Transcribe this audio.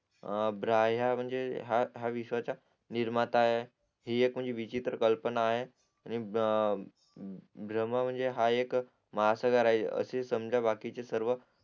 अं ब्रह्या म्हणजे हा विश्वाचा निर्माता आहे हि एक विचित्र कल्पना आहे आणि ब्र ब्र ब्रम्हा म्हणजे हा एक मास्टरगार असे समजा बाकीचे सर्व